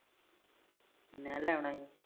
ਮੈ ਲੈ ਆਉਣਾ ਹੀ